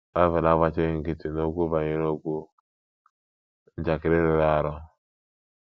Bible agbachighị nkịtị n’okwu banyere okwu njakịrị rụrụ arụ.